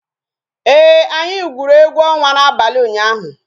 Ee, anyị gwuru egwu ọnwa n'abalị ụnyaahụ